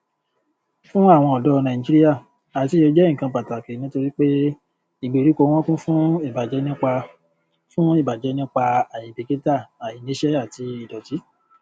fún àwon ọdọ nàìjíríà àtiyè jẹ nnkan pàtàkì nítorí pé ìgbèríko wọn kún fún ìbàjẹ nípa fún ìbàjẹ nípa àìbìkítà àìníṣẹ àti ìdòtí